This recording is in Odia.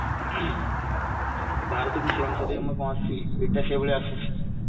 ଭାରତକୁ ସେଇ ଅନୁସାରେ ଆମର କଣ ଆସୁଛି ଏଇଟା ସେଇ ଭଳିଆ ଆସୁଛି